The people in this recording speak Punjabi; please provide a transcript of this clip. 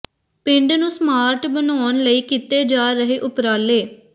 ਪਿੰਡ ਨੂੰ ਸਮਾਰਟ ਬਣਾਉਨ ਲਈ ਕੀਤੇ ਜਾ ਰਹੇ ਉਪਰਾਲੇ